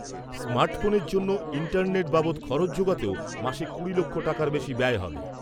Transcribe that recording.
Smart ফোনের জন্য internet বাবদ খরচ যোগাতেও মাসে কুড়ি লক্ষ টাকার বেশি ব্যয় হবে।